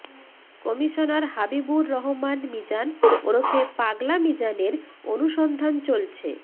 commissioner Habibur Rahman Mizan ওরফে পাগলা মিজানের অনুসন্ধান চলছে